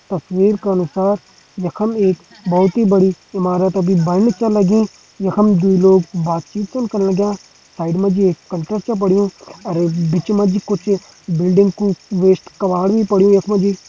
तस्वीर का अनुसार यखम एक बहोत ही बड़ी इमारत अभी बण छ लगीं यखम दुई लोग बात चित छन कन लग्यां साइड मा जी एक कंटर छ पड़युं और एक बिच मा जी कुछ बिल्डिंग कु वेस्ट कबाड़ भी पड़युं यख मा जी।